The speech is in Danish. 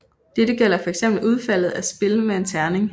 Dette gælder fx udfaldet af spil med en terning